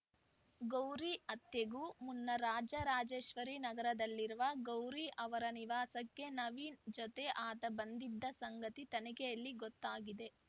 ಗೌರಿ ಹತ್ಯೆಗೂ ಮುನ್ನ ರಾಜರಾಜೇಶ್ವರಿ ನಗರದಲ್ಲಿರುವ ಗೌರಿ ಅವರ ನಿವಾಸಕ್ಕೆ ನವೀನ್‌ ಜತೆ ಆತ ಬಂದಿದ್ದ ಸಂಗತಿ ತನಿಖೆಯಲ್ಲಿ ಗೊತ್ತಾಗಿದೆ